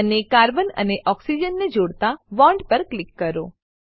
અને કાર્બન અને ઓક્સિજન ને જોડતા બોન્ડ પર કરો